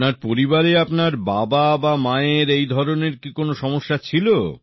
আপনার পরিবারে আপনার বাবা বা মায়ের এই ধরনের কি কোন সমস্যা ছিল